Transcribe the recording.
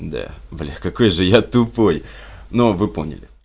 да бля какой же я тупой но вы поняли